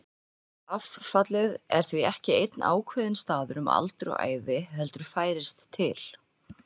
Affallið er því ekki einn ákveðinn staður um aldur og ævi heldur færist til.